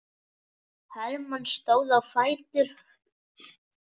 Hermann stóð á fætur.